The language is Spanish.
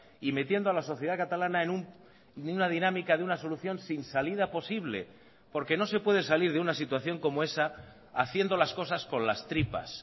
y metiendo a la sociedad catalana en una dinámica de una solución sin salida posible porque no se puede salir de una situación como esa haciendo las cosas con las tripas